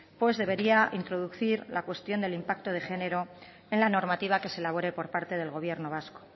pues debería introducir la cuestión del impacto de género en la normativa que se elabore por parte del gobierno vasco